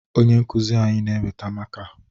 Onye nkụzi anyị na-eweta maka